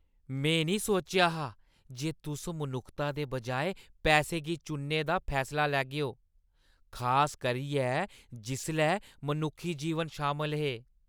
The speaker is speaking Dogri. में नेईं सोचेआ हा जे तुस मनुक्खता दे बजाए पैसे गी चुनने दा फैसला लैगेओ, खास करियै जिसलै मनुक्खी जीवन शामल हे।